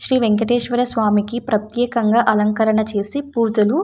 శ్రీ వెంకటేశ్వరా స్వామికి ప్రతేక్యంగా అలంకరణ చేసి పూజలు --